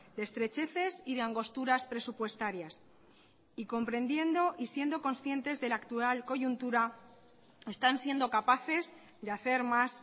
de estrecheces y de angosturas presupuestarias y comprendiendo y siendo conscientes de la actual coyuntura están siendo capaces de hacer más